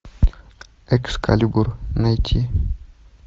экскалибур найти